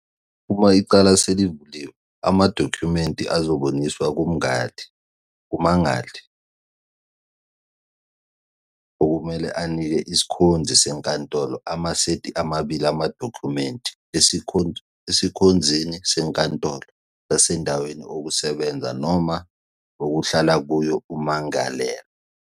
Uma icala selivuliwe, amadokhumenti azobuyiselwa kummangali, okumele anike isikhonzi senkantolo amasethi amabili amadokhumenti esikhonzini senkantolo sasendaweni okusebenza noma okuhlala kuyo ummangalelwa.